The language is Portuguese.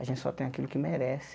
A gente só tem aquilo que merece.